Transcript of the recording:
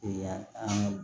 Ee an ka